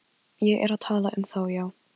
Ég er að tala um þá, já.